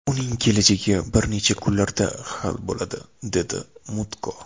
Uning kelajagi bir necha kunlarda hal bo‘ladi”, dedi Mutko.